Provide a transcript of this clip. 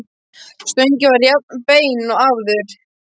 Stöngin var jafn bein og áður.